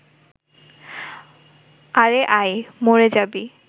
আরে আয়, মরে যাবি